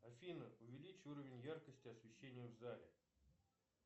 афина увеличь уровень яркости освещения в зале